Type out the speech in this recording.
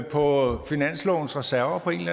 på finanslovens reserver på en